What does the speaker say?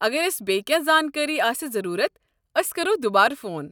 اگر اسہِ بییٚہِ کیٚنٛہہ زانٛکٲرِی آسہِ ضروٗرَت، ٲسۍ کرَو دُبارٕ فون۔